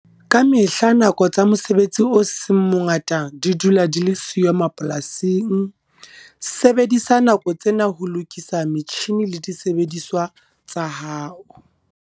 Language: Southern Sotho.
Ka mehla nako tsa mosebetsi o seng mongata di dula di le siyo mapolasing. Sebedisa nako tsena ho lokisa metjhine le disebediswa tsa hao.